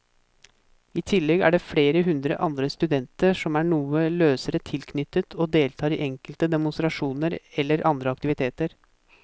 I tillegg er det flere hundre andre studenter som er noe løsere tilknyttet og deltar i enkelte demonstrasjoner eller andre aktiviteter.